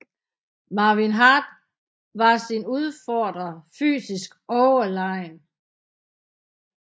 Marvin Hart var sin udfordrer fysisk overlegen